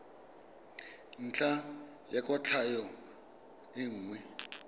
ntlha ya kwatlhao e nngwe